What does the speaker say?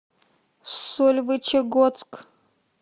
сольвычегодск